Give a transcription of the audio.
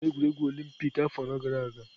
Chidi gara egwuregwu olympịk afọ anọ gara aga.